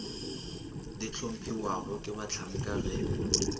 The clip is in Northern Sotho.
di hlomphiwago ke bahlanka ge